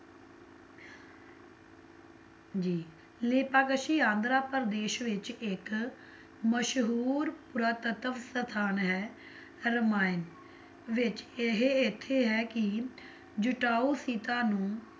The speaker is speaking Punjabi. ਜੀ, ਲੇਪਾਕਸ਼ੀ ਆਂਧਰਾ ਪ੍ਰਦੇਸ਼ ਵਿੱਚ ਇੱਕ ਮਸ਼ਹੂਰ ਪੁਰਾਤਤਵ ਅਸਥਾਨ ਹੈ ਰਮਾਇਣ ਵਿੱਚ ਇਹ ਇੱਥੇ ਹੈ ਕੀ ਜਟਾਊ ਸੀਤਾ ਨੂੰ